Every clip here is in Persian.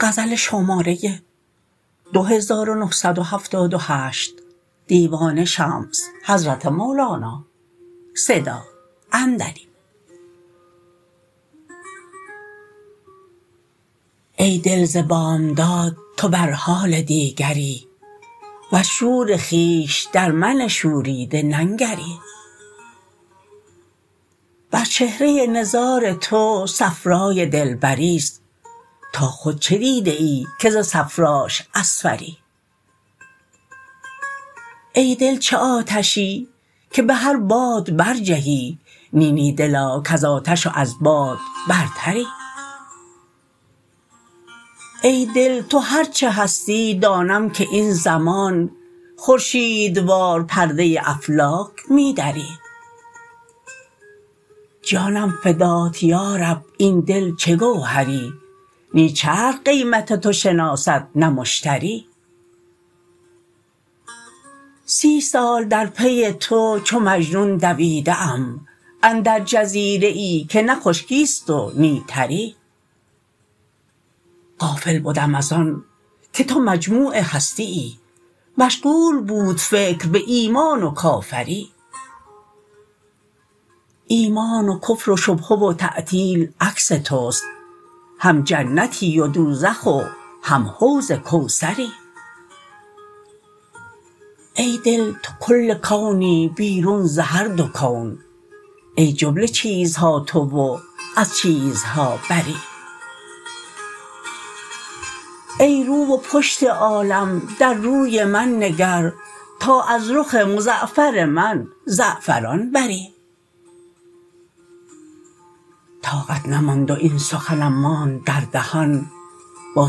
ای دل ز بامداد تو بر حال دیگری وز شور خویش در من شوریده ننگری بر چهره نزار تو صفرای دلبری است تا خود چه دیده ای که ز صفراش اصفری ای دل چه آتشی که به هر باد برجهی نی نی دلا کز آتش و از باد برتری ای دل تو هر چه هستی دانم که این زمان خورشیدوار پرده افلاک می دری جانم فدات یا رب ای دل چه گوهری نی چرخ قیمت تو شناسد نه مشتری سی سال در پی تو چو مجنون دویده ام اندر جزیره ای که نه خشکی است و نی تری غافل بدم از آن که تو مجموع هستیی مشغول بود فکر به ایمان و کافری ایمان و کفر و شبهه و تعطیل عکس توست هم جنتی و دوزخ و هم حوض کوثری ای دل تو کل کونی بیرون ز هر دو کون ای جمله چیزها تو و از چیزها بری ای رو و پشت عالم در روی من نگر تا از رخ مزعفر من زعفران بری طاقت نماند و این سخنم ماند در دهان با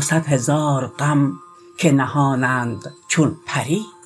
صد هزار غم که نهانند چون پری